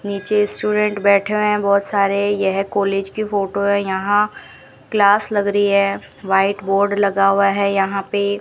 नीचे स्टूडेंट बैठे हुए हैं बहुत सारे यह कॉलेज की फोटो है यहां क्लास लग रही है व्हाइट बोर्ड लगा हुआ है यहां पे।